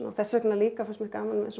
þess vegna líka fannst mér gaman eins og með